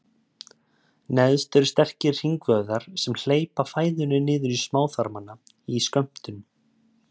Neðst eru sterkir hringvöðvar sem hleypa fæðunni niður í smáþarmana í skömmtum.